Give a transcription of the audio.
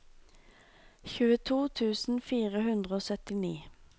tjueto tusen fire hundre og syttini